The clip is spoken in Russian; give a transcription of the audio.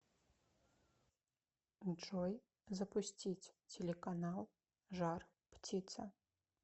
джой запустить телеканал жар птица